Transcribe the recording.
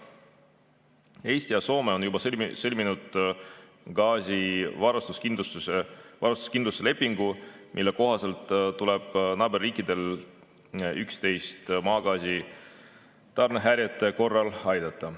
Eesti ja Soome on juba sõlminud gaasivarustuskindluse lepingu, mille kohaselt tuleb naaberriikidel üksteist maagaasi tarnimise häirete korral aidata.